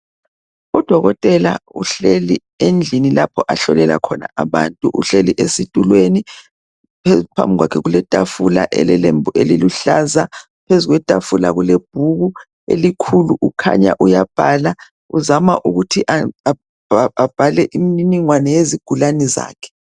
Udokotela uhleli endlini lapho ahlolela khona abantu. Uhleli esitulweni phambi kwakhe kuletafula elelembu elilehlaza. Phezu kwetafula kule bhuku elikhulu kukhanya uyabhala uzama ukuthi abhale imininingwane yezigulane zakhe.